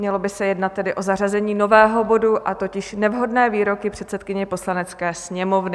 Mělo by se tedy jednat o zařazení nového bodu, a totiž Nevhodné výroky předsedkyně Poslanecké sněmovny.